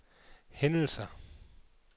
hændelser